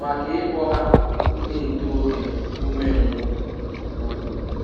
maka ịkpọ ha ndị ntorobịa umengwụ. um